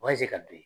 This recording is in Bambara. ka don